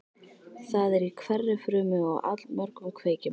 Það er í hverri frumu og allmörgum kveikjum.